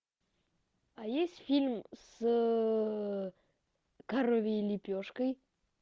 а есть фильм с коровьей лепешкой